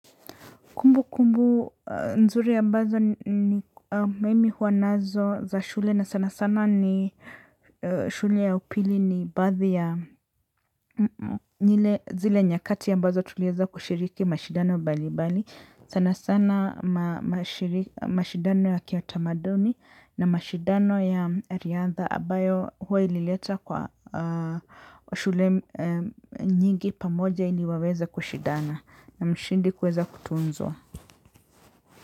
Kumbukumbu nzuri ambazo ni mimi huwa nazo za shule na sana sana ni shule ya upili ni baadhi ya zile nyakati ambazo tuliweza kushiriki mashidano mbali mbali sana sana mashindano ya kiutamaduni na mashindano ya riadha ambayo huwa ilileta kwa shule nyingi pamoja ili waweze kushindana na mshindi kuweza kutuzwa.